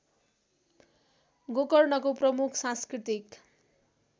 गोकर्णको प्रमुख सांस्कृतिक